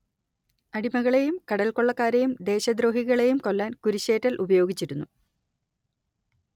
അടിമകളെയും കടൽക്കൊള്ളക്കാരെയും ദേശദ്രോഹികളെയും കൊല്ലാൻ കുരിശിലേറ്റൽ ഉപയോഗിച്ചിരുന്നു